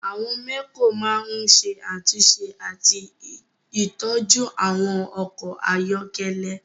Àwọn mẹ́kò máa ń ṣe àtúnṣe àti ìtọ́jú àwọn ọkọ̀ ayọ́kẹ́lẹ́